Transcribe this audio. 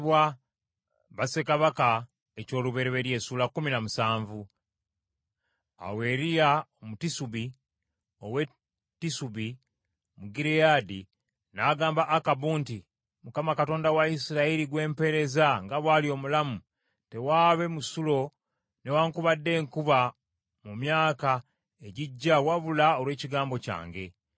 Awo Eriya Omutisubi ow’e Tisubi mu Gireyaadi, n’agamba Akabu nti, “ Mukama Katonda wa Isirayiri gwe mpeereza nga bw’ali omulamu, tewaabe musulo newaakubadde enkuba mu myaka egijja wabula olw’ekigambo kyange.”